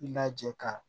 I lajɛ ka